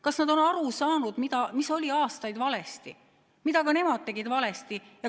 Kas nad on aru saanud, mis oli aastaid valesti ja mida ka nemad tegid valesti?